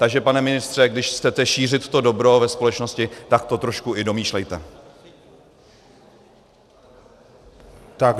Takže pane ministře, když chcete šířit to dobro ve společnosti, tak to trošku i domýšlejte.